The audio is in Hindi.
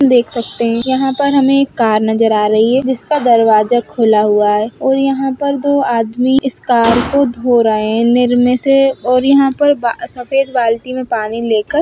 देख सकते हैयहां पर हमे एक कार नजर आ रही है जिसका दरवाजा खुला हुआ है और यहां पर दो आदमी इस कार को धो रहे है और इनमें से और यहां पे सफेद बाल्टी में पानी लेकर---